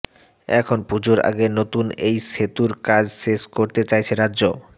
এখন পুজোর আগে নতুন এই সেতুর কাজ শেষ করতে চাইছে রাজ্য